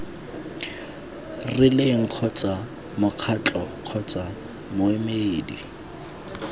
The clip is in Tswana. rileng kgotsa mokgatlo kgotsa moemedi